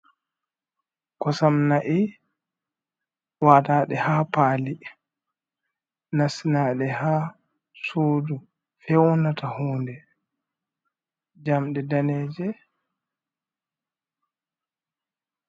Kosam na'i wataɗe ha pali, nasinaɗe ha sudu fewnata huude, jamɗe daneje.